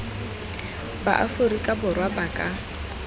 ba aforika borwa ba ka